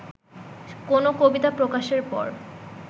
কোন কবিতা প্রকাশের পর